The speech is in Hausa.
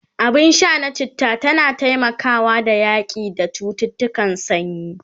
abun Sha na chitta tana taimakawa da yaƙi da cuttutukan sanyi